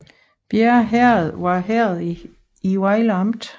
Bjerre Herred var herred i Vejle Amt